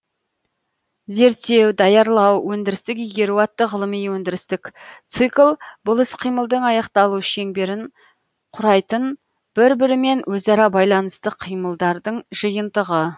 зерттеу даярлау өндірістік игеру атты ғылыми өндірістік цикл бұл іс кимылдың аяқталу шеңберін курайтын бір бірімен өзара байланысты қимылдардың жиынтығы